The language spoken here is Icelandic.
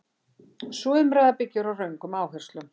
Sú umræða byggir á röngum áherslum.